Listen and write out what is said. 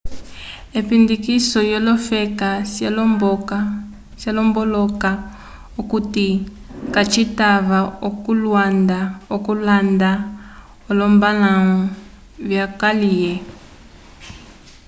epindikiso lyolofeka ciomboloka okuti kacitava okulanda olombalãwu vyokaliye